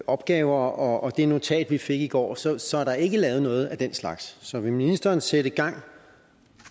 opgaver og det notat vi fik i går så så er der ikke lavet noget af den slags så vil ministeren sætte gang